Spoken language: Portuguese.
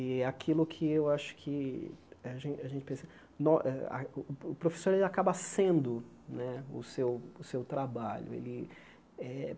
E aquilo que eu acho que a gen a gente pensa... O professor, ele acaba sendo né o seu o seu trabalho né e eh.